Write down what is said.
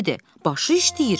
Başı işləyir."